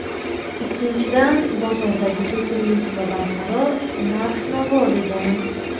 Ikkinchidan, bozordagi to‘kinlik va barqaror narx-navo degani.